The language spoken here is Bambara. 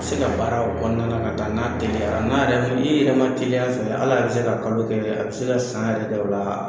A se ka baara o kɔnɔna na n'a teliyara n' i yɛrɛ ma teliya a fɛ hal'a yɛrɛ bɛ se ka kalo kɛ a bɛ se ka san yɛrɛ kɛ o la